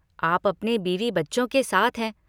आप अपने बीवी बच्चों के साथ हैं।